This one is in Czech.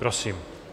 Prosím.